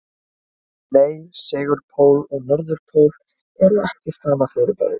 Nei, segulpóll og norðurpóll eru ekki sama fyrirbærið.